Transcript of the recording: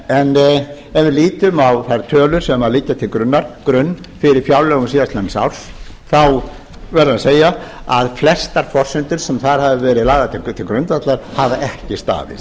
en ef við lítum á þær tölur sem liggja sem grunnur fyrir fjárlögum síðastliðins árs þá verður að segja að flestar forsendur sem þar hafa verið lagðar til grundvallar hafa ekki staðist